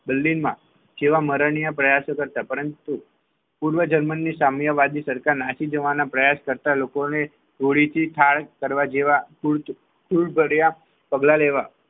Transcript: Berlin માં સેવા મરણના પ્રયાસો કરતા પરંતુ પૂર્વ જર્મની સામ્યવાદી સરકાર નાસી જવાના પ્રયાસ કરતા લોકોને હોળીથી થાળ કરવા જેવા ફૂલ ફૂલ ભર્યા પગલા લેવા